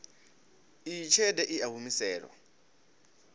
iyi tshelede i a humiselwa